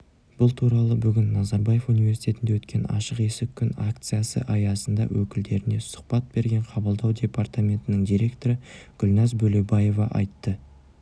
бұл туралы бүгін назарбаев университетінде өткен ашық есік күн акциясы аясында өкілдеріне сұхбат берген қабылдау департаментінің директоры гүлназ бөлебаева айтты